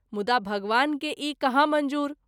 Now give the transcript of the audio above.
मुदा भगवान के ई कहाँ मंजूर।